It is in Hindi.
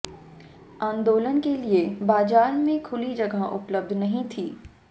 आंदोलन के लिये बाजार में खुली जगह उपलब्ध नहीं थी